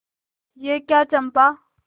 यह क्या चंपा